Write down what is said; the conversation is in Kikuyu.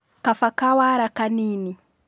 kaba kawara kanini